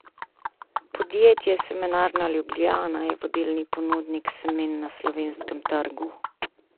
Podjetje Semenarna Ljubljana je vodilni ponudnik semen na slovenskem trgu.